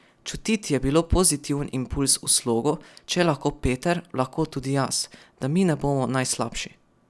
Čutiti je bilo pozitiven impulz v slogu, če je lahko Peter, lahko tudi jaz, da mi ne bomo najslabši.